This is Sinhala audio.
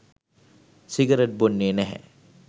සිගරට් බොන්නේ නැහැ.